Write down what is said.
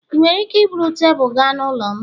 ị nwere ike iburu tebụl gaa n'ụlọ m?